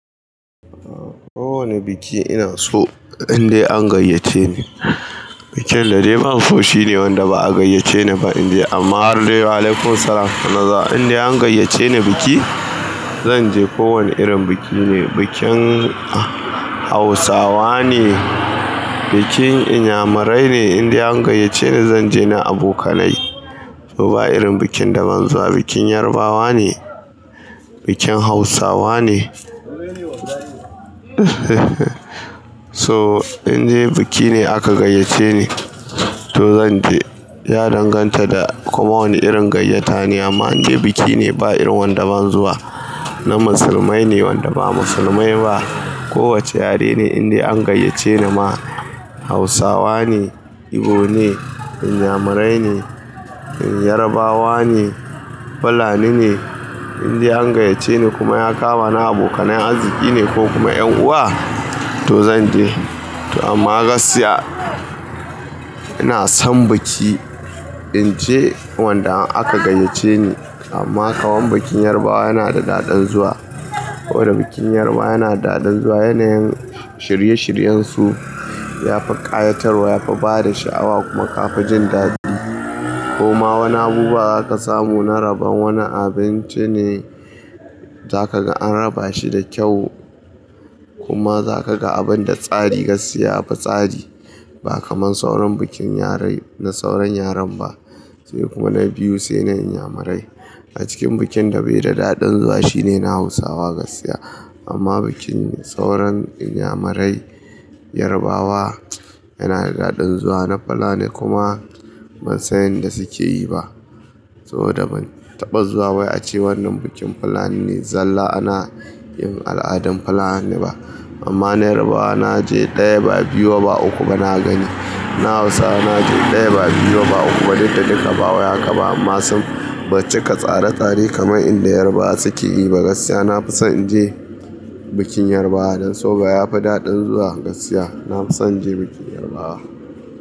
Kowane biki ina so indai an gayyace ni. Bikin da dai ban so shine wanda ba a gayyace ni fa in je. Amma har dai alaikumsalam sana za, inda an gayyace ni biki, zan je ko wane irin biki ne, bikin Hausawa ne, bikin Inyamurai ne, inda an gayyace ni zan je na abokanai. Ba irin bikin da ban zuwa, bikin Yarbawa ne, bikin Hausawa ne. Toh inda bikine aka gayyace ni, to zan je. Ya danganta da kuma wane irin gayyata ne, amma inda bikine ba irin wanda ban zuwa, na musulmai ne wanda ba musulmai ba, kowacce yare ne inda an gayyace ni ma, Hausawa ne, Igbo ne, Inyamurai ne, Yarabawa ne, Fulani ne, inda an gayyace ni kuma ya kamani abokanai arziki ne ko kuma 'yan uwa, to zan je. Amma gaskiya, ina son biki, in je wanda aka gayyace ni. Amma kaman bikin Yarbawa yana da daɗin zuwa. Saboda bikin Yarbawa yana da daɗin zuwa, yanayin shirye shiryensu, ya fi ƙayatarwa, ya fi bada sha'awa kuma ka fi jin daɗi. Kuma wani abubuwa za ka samu na rabon wani abinci ne, za ka ga an raba shi da kyau. Kuma za ka ga abin da tsari, gaskiya yafi tsari. Ba kamar sauran bikin yare, na sauran yaren ba, sai kuma na biyu sai na Inyamurai. A cikin bikin da bai da daɗin zuwa shine na Hausawa gaskiya. Amma bikin sauran Inyamurai, Yarbawa, yana da daɗin zuwa na Fulani kuma ban san yanda suke yi ba. Saboda ban taɓa zuwa wai ace wannan bikin Fulani ne, zalla ana yin al'adan Fulani ba. Amma na Yarbawa na je ɗaya ba biyu ba uku ba na gani. Na Hausawa na je ɗaya ba biyu ba uku ba, duk da duka ba wuya ka ba masu bacika tsare tsare kamar inda Yarbawa suke yi ba. Gaskiya na fi son in je bikin Yarbawa dan soba ya fi daɗin zuwa gaskiya. Na fi son in je bikin Yarbawa.